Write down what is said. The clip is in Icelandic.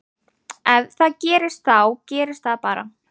Ef það gerist þá gerist það bara.